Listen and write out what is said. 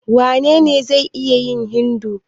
Wanene zai iya yin Hindu?